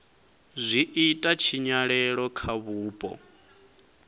zwi ita tshinyalelo kha vhupo